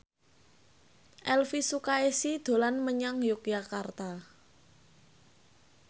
Elvi Sukaesih dolan menyang Yogyakarta